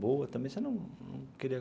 Boa também você não queria?